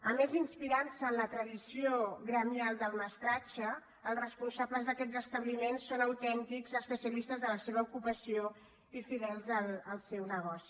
a més inspirant se en la tradició gremial del mestratge els responsables d’aquests establiments són autèntics especialistes de la seva ocupació i fidels al seu negoci